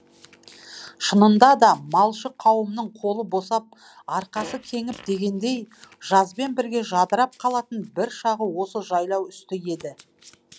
шынында да малшы қауымның қолы босап арқасы кеңіп дегендей жазбен бірге жадырап қалатын бір шағы осы жайлау үсті еді